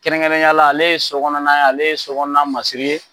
Kɛrɛnkɛrɛnneyala ale ye so kɔnɔna ye, ale ye so kɔnɔna masiri ye